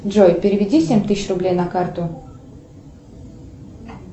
джой переведи семь тысяч рублей на карту